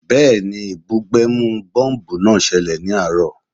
Bẹ́ẹ̀ni, ìbúgbẹ̀mù bọ́ḿbù náà ṣẹlẹ̀ ní àárọ̀